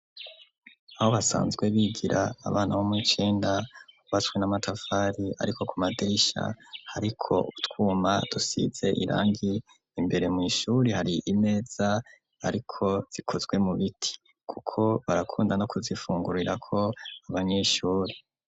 Aho basanzwe bigira abana bo mw'icenda hubatswe n'amatafari ariko ku madirisha hariko utwuma dusize irangi imbere mu ishure hari imeza ariko zikozwe mu biti, kuko barakunda no kuzifungurira ko abanyeshure.